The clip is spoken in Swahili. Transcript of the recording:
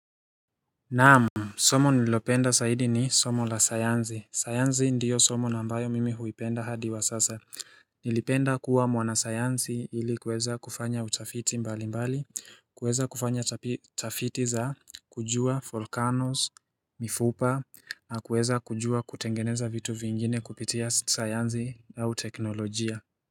Naam, somo nililopenda zaidi ni somo la sayansi. Sayansi ndiyo somo na ambayo mimi huipenda hadi wa sasa. Nilipenda kuwa mwanasayansi ili kuweza kufanya utafiti mbali mbali, kuweza kufanya tafiti za kujua volcanoes, mifupa, na kuweza kujua kutengeneza vitu vingine kupitia sayansi au teknolojia.